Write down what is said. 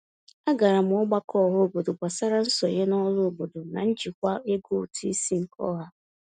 A gara m ọgbakọ ọhaobodo gbasara nsonye n'ọrụ obodo na njikwa ego ụtụisi nke ọha.